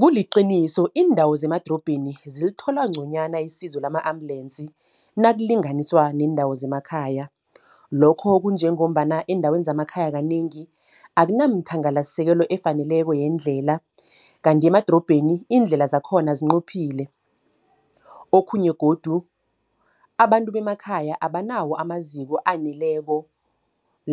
Kuliqiniso iindawo zemadorobheni zilithola ngconywana isizo lama-ambulensi, nakulinganiswa neendawo zemakhaya. Lokho kunjengombana eendaweni zemakhaya kanengi, akunamthangalasekelo efaneleko yeendlela. Kanti ngemadorobheni iindlela zakhona zincophile. Okhunye godu abantu bemakhaya abanawo amaziko aneleko,